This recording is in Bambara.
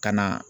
Ka na